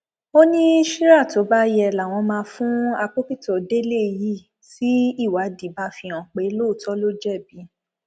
ó ní ṣírà tó bá yẹ làwọn máa fún àpókìtọ délé yìí tí ìwádì bá fìhàn pé lóòótọ ló jẹbi